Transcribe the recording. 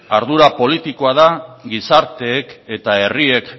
ardura politikoa da gizarteek eta herriek